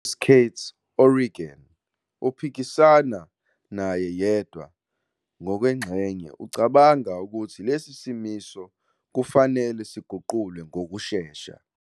UJustice Kate O'Regan, ophikisana naye yedwa ngokwengxenye, ucabanga ukuthi lesi simiso kufanele siguqulwe ngokushesha.